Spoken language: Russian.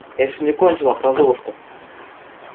я ещё не кончила про золушку